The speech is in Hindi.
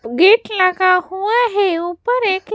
उग गेट लगा हुआ है ऊपर एक --